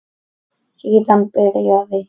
Síðan byrjaði